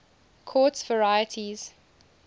quartz varieties